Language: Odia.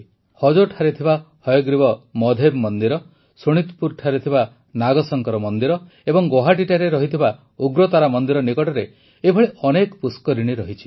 ହଜୋଠାରେ ଥିବା ହୟଗ୍ରୀବ ମଧେବ ମନ୍ଦିର ଶୋଣିତପୁରଠାରେ ଥିବା ନାଗଶଙ୍କର ମନ୍ଦିର ଏବଂ ଗୌହାଟିଠାରେ ରହିଥିବା ଉଗ୍ରତାରା ମନ୍ଦିର ନିକଟରେ ଏଭଳି ଅନେକ ପୁଷ୍କରିଣୀ ରହିଛି